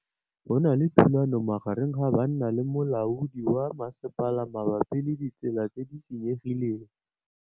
Go na le thulanô magareng ga banna le molaodi wa masepala mabapi le ditsela tse di senyegileng.